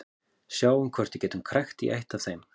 Sjáum hvort við getum krækt í eitt af þeim.